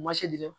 Ma se di dɛ